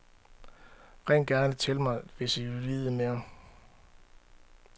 Ring gerne til mig, hvis I vil vide mere.